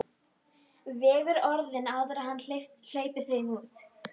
Vegur orðin áður en hann hleypir þeim út.